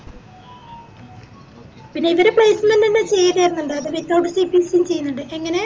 ല്ലാം ചെയ്തേർന്നിണ്ട് അത് withoutCPC ക്ക് ഇവിടെ ചെയ്യന്നിണ്ട് എങ്ങനെ